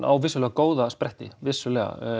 á vissulega góða spretti vissulega